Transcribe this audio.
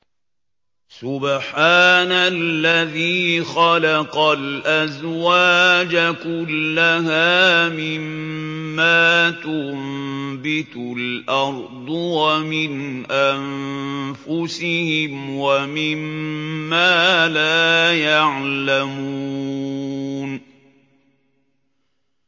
سُبْحَانَ الَّذِي خَلَقَ الْأَزْوَاجَ كُلَّهَا مِمَّا تُنبِتُ الْأَرْضُ وَمِنْ أَنفُسِهِمْ وَمِمَّا لَا يَعْلَمُونَ